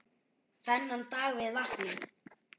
Þennan dag við vatnið.